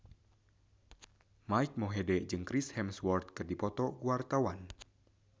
Mike Mohede jeung Chris Hemsworth keur dipoto ku wartawan